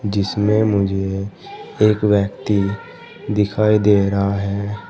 जिसमें मुझे एक व्यक्ति दिखाई दे रहा है।